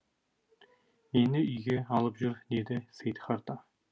мені үйге алып жүр деді сейдхарта